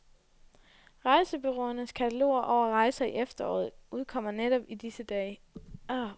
Rejsebureauernes kataloger over rejser i efteråret udkommer netop i disse dage.